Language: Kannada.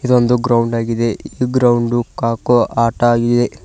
ಇದೊಂದು ಗ್ರೌಂಡ್ ಆಗಿದೆ ಈ ಗ್ರೌಂಡು ಕಾಕೋ ಆಟ ಆಗಿದೆ.